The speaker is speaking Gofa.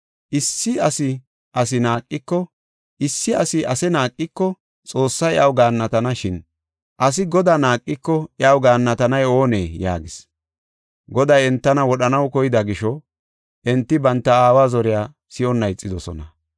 Issi asi ase naaqiko, Xoossay iyaw gaannatana; shin asi Godaa naaqiko, iyaw gaannatanay oonee?” yaagis. Goday entana wodhanaw koyida gisho enti banta aawa zoriya si7onna ixidosona.